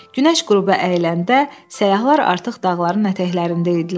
Günəş qüruba əyiləndə səyyahlar artıq dağların ətəklərində idilər.